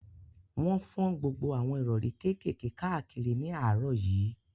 Wọ́n fọ́n gbogbo àwọn ìrọ̀rí kékèké káàkiri ní àárọ̀ yìí